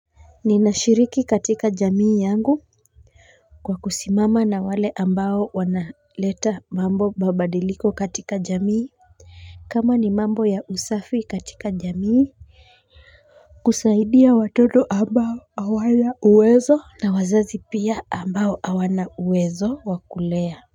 Ninashiriki katika jamii yangu kwa kusimama na wale ambao wanaleta mambo babadiliko katika jamii kama ni mambo ya usafi katika jamii kusaidia watoto ambao hawana uwezo na wazazi pia ambao hawana uwezo wa kulea.